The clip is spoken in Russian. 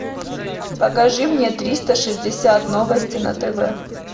покажи мне триста шестьдесят новости на тв